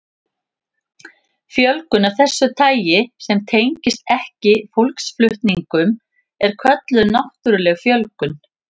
Fjölgun af þessu tagi sem tengist ekki fólksflutningum er kölluð náttúruleg fjölgun.